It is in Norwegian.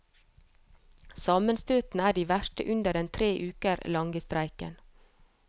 Sammenstøtene er de verste under den tre uker lange streiken.